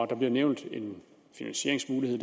der bliver nævnt en finansieringsmulighed